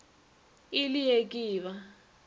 e le ee ke ba